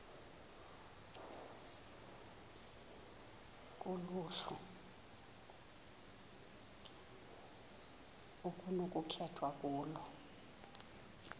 kuluhlu okunokukhethwa kulo